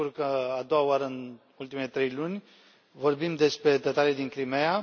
Mă bucur că, a doua oară în ultimele trei luni, vorbim despre tătarii din Crimeea.